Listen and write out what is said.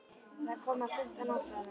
Það er komið á fimmta ár, svaraði hún.